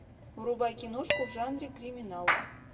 врубай киношку в жанре криминал